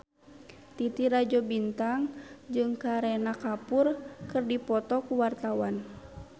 Titi Rajo Bintang jeung Kareena Kapoor keur dipoto ku wartawan